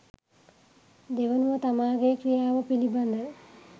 දෙවනුව තමාගේ ක්‍රියාව පිළිබඳ